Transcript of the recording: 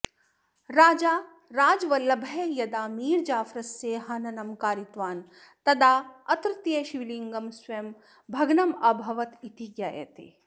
राजा राजवल्लभः यदा मीर् जाफरस्य हननं कारितवान् तदा अत्रत्यशिवलिङ्गं स्वयं भग्नम् अभवत् इति ज्ञायते